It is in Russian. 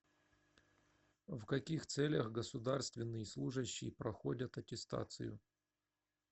в каких целях государственный служащий проходят аттестацию